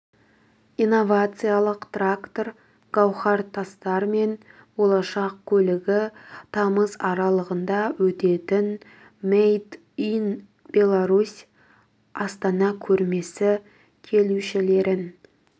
инновациялық трактор гауһар тастар мен болашақ көлігі тамыз аралығында өтетін мэйд ин беларусь астана көрмесі келушілерін